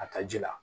A ka ji la